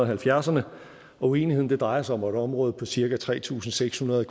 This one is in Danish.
halvfjerdserne og uenigheden har drejet sig om et område på cirka tre tusind seks hundrede